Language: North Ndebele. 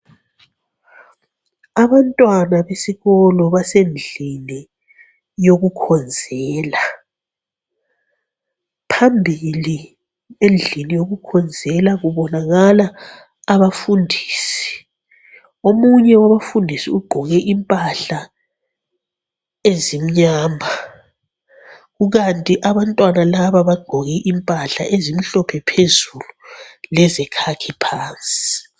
Abantwana besikolo basendlini yokukhonzela, phambili endlini yoku khonzela kubonakala abafundisi, omunye umfundisi ugqoke impahla ezimnyama kukanti, abantwana laba bagqoke impahla ezimhlophe phezulu lezikhakhi phansi.